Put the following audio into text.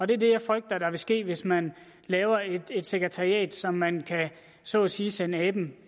det er det jeg frygter vil ske hvis man laver et sekretariat som man så at sige kan sende aben